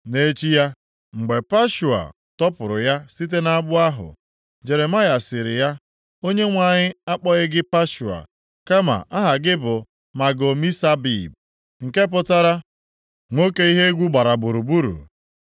Nʼechi ya, mgbe Pashua tọpụrụ ya site nʼagbụ ahụ, Jeremaya sịrị ya, “ Onyenwe anyị akpọghị gị Pashua, kama aha gị bụ Mago-Misabib, nke pụtara, Nwoke ihe egwu gbara gburugburu.